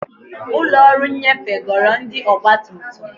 Ụlọ ọrụ nnyefe goro ndị ọgba tum tum.